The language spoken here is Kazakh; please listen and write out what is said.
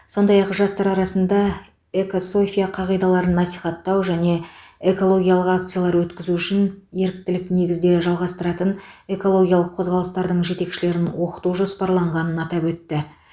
сондай ақ жастар арасында экософия қағидаларын насихаттау және экологиялық акциялар өткізу үшін еріктілік негізде жалғастыратын экологиялық қозғалыстардың жетекшілерін оқыту жоспарланғанын атап өтті